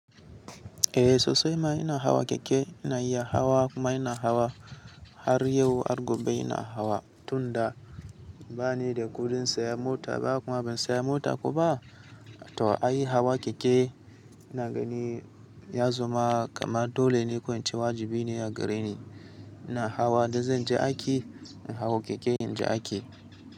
Eh sosai ma ina hawa keke, ina iya hawa kuma ina hawa har yau har gobe ina hawa. Tunda bani da kudin sayan mota ba kuma ban saya mota kuma to ai hawa keke na gani ya zama kamar dole ne, ƙo in cewa wajibi ne a gare ni. Ina hawa idan zan je aiki, ina hawa keke in je aiki.